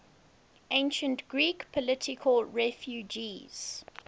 ancient greek political refugees